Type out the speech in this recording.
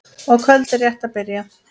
og kvöldið rétt að byrja!